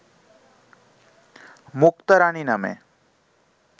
মুক্তা রাণী নামে